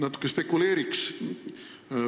Natuke spekuleeriks.